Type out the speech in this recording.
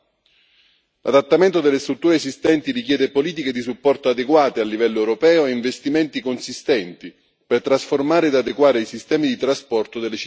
L'adattamento delle strutture esistenti richiede politiche di supporto adeguate a livello europeo e investimenti consistenti, per trasformare e adeguare i sistemi di trasporto delle città europee.